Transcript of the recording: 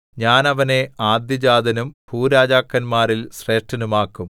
ഞാൻ അവനെ ആദ്യജാതനും ഭൂരാജാക്കന്മാരിൽ ശ്രേഷ്ഠനുമാക്കും